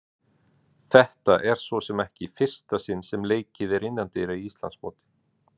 Þetta er svo sem ekki í fyrsta sinn sem leikið er innandyra í Íslandsmóti.